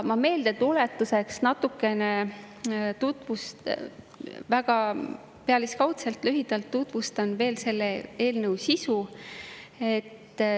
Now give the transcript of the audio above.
Ma meeldetuletuseks väga pealiskaudselt, lühidalt tutvustan veel selle eelnõu sisu.